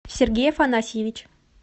сергей афанасьевич